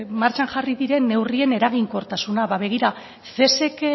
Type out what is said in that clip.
martxan jarri diren neurrien eraginkortasuna ba begira cesek